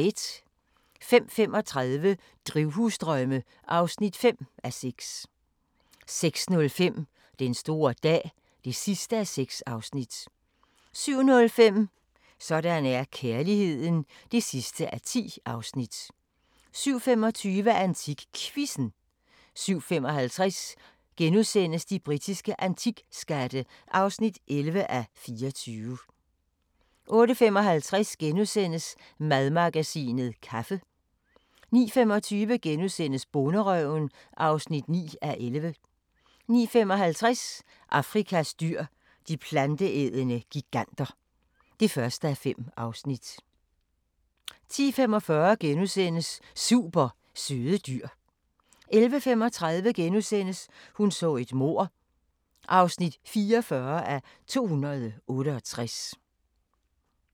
05:35: Drivhusdrømme (5:6) 06:05: Den store dag (6:6) 07:05: Sådan er kærligheden (10:10) 07:25: AntikQuizzen 07:55: De britiske antikskatte (11:24)* 08:55: Madmagasinet - kaffe * 09:25: Bonderøven (9:11)* 09:55: Afrikas dyr – de planteædende giganter (1:5) 10:45: Super søde dyr * 11:35: Hun så et mord (44:268)*